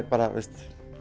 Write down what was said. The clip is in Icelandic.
bara